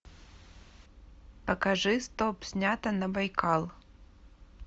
покажи стоп снято на байкал